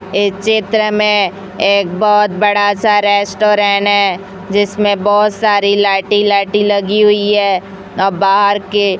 इस चित्र में एक बहुत बड़ा सा रेस्टुरेंट है जिसमें बहुत सारे लाइट ही लाइट लगी हुई है और बाहर के --